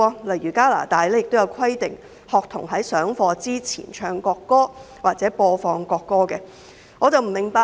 例如，加拿大規定在上課前播放國歌或學童在上課前唱國歌。